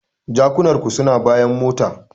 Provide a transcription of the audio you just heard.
Jakunar ku suna bayan mota.